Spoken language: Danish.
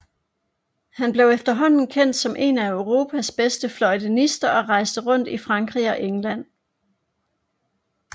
Han blev efterhånden kendt som en af Europas bedste fløjtenister og rejste rundt i Frankrig og England